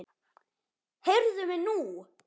Heyrðu mig nú!